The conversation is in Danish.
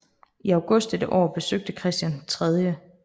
I august dette år besøgte Christian 3